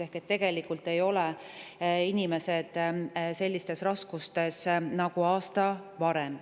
Ehk tegelikult ei ole inimesed sellistes raskustes nagu aasta varem.